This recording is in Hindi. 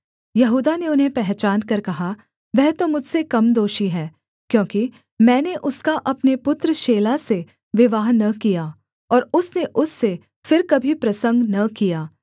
यहूदा ने उन्हें पहचानकर कहा वह तो मुझसे कम दोषी है क्योंकि मैंने उसका अपने पुत्र शेला से विवाह न किया और उसने उससे फिर कभी प्रसंग न किया